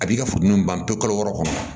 A b'i ka futɛniw ban pewu kalo wɔɔrɔ kɔnɔ